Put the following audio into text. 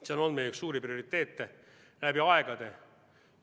See on olnud meie üks suuri prioriteete läbi aegade.